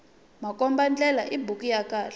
makomba ndlela i buku ya khale